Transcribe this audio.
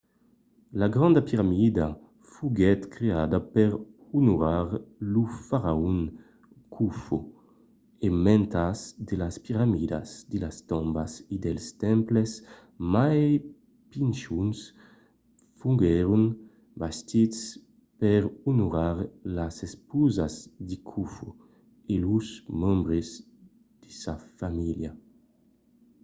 la granda piramida foguèt creada per onorar lo faraon khofo e mantas de las piramidas de las tombas e dels temples mai pichons foguèron bastits per onorar las esposas de khofo e los membres de sa famíilha